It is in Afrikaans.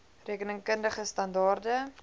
rekening kundige standaarde